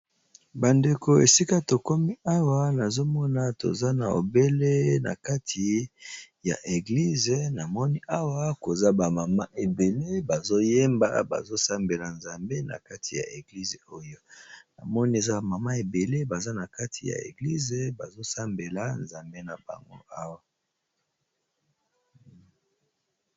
Bandeko esika tokomi Awa nazokomona toza na obele na kati ya église namoni Awa ba maman ebele bazoyemba pe bazo sambela NZAMBE esika oyo.